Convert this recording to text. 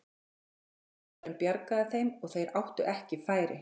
Línuvörðurinn bjargaði þeim og þeir áttu ekki færi.